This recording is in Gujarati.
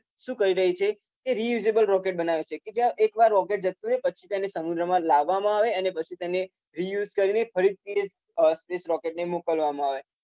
શું કરી રહી છે કે રીયુઝેબલ રોકેટ બનાવે છે કે જ્યાં રોકેટ જતુ રહે પછી તેને સંગ્રહમાં લાવવામાં આવે પછી તેને રીયુઝ કરીને ફરીથી તેને રોકેટને મોકલવામાં આવે.